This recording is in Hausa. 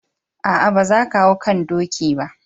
Aa, ba za kan hau kan doki ba.